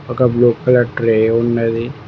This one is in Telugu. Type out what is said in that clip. ఒక బ్లూ కలర్ ట్రే ఉన్నది.